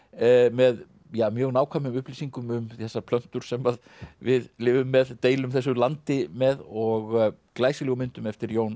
með mjög nákvæmum upplýsingum um þessar plöntur sem við lifum með deilum þessu landi með og glæsilegum myndum eftir Jón